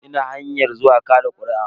Ina hanyar zuwa kaɗa kuri'a.